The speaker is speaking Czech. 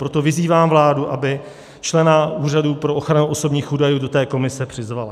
Proto vyzývám vládu, aby člena Úřadu pro ochranu osobních údajů do té komise přizvala.